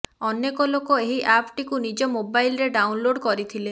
ଅନେକ ଲୋକ ଏହି ଆପଟିକୁ ନିଜ ମୋବାଇଲରେ ଡାଉନଲୋଡ କରିଥିଲେ